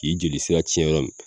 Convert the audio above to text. K'i jeli sira cɛn yɔrɔ min